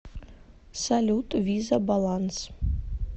салют виза баланс